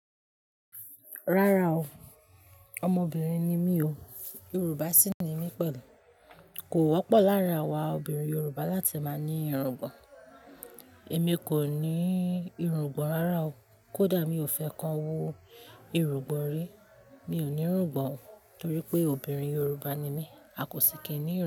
Rárá o, ọmọbìnrin ni mí o, Yoruba sí ni mí pẹ̀lú. Kò wọ́pọ̀ láàrin àwa obìnrin Yoruba láti máa ní irungbọ̀n. Èmi kò ní irungbọ̀n rárá o, kódà mi ò fẹ́ kan wo irungbọ̀n rí. Mi ò ní irungbọ̀n o torí pé obìnrin Yoruba ni mí, a kò sì kìí ní irungbọ̀n.